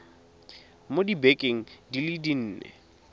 mo dibekeng di le nne